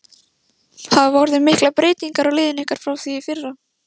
Hafa orðið miklar breytingar á liðinu ykkar frá því í fyrra?